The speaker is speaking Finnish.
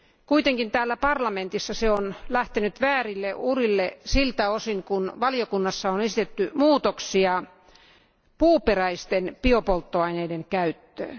Kuitenkin täällä parlamentissa se on lähtenyt väärille urille siltä osin kuin valiokunnassa on esitetty muutoksia puuperäisten biopolttoaineiden käyttöön.